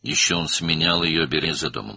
Həm də o, onu evin qapısında əvəz edirdi.